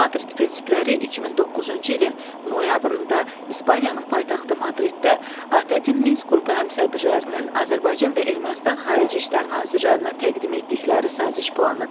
Madrid prinsipləri 2009-cu ilin noyabrında İspaniyanın paytaxtı Madriddə ATƏT-in Minsk qrupu həmsədrlərinin Azərbaycan və Ermənistan xarici İşlər nazirlərinə təqdim etdikləri saziş planıdır.